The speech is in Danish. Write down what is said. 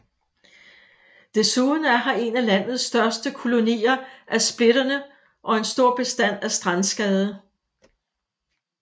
Desuden er her en af landets største kolonier af splitterne og en stor bestand af strandskade